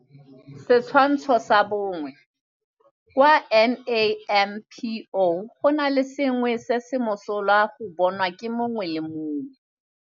Setshwantsho sa 1 - Kwa NAMPO go na le sengwe se se mosola go bonwa ke mongwe le mongwe.